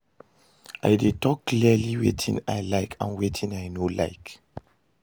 I dey talk clearly wetin i like and wetin i no like.